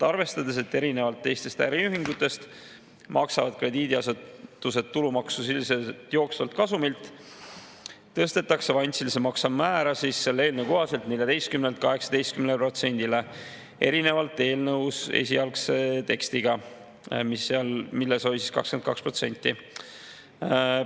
Arvestades, et erinevalt teistest äriühingutest maksavad krediidiasutused tulumaksu jooksvalt kasumilt, tõstetakse selle eelnõu kohaselt avansilise makse määr 14%-lt 18%-le erinevalt eelnõu esialgsest tekstist, mille 22%-le.